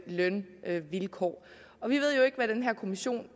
lønvilkår vi ved jo ikke hvad den her kommission